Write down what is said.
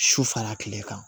Su fara kile kan